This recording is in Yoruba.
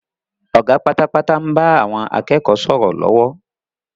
Ọ̀gá pátápátá ń bá àwọn akẹ́kọ̀ọ́ sọ̀rọ̀ lọ́wọ́